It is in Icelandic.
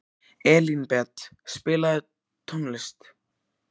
Elínbet, spilaðu tónlist.